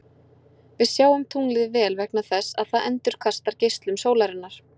Við sjáum tunglið vel vegna þess að það endurkastar geislum sólarinnar.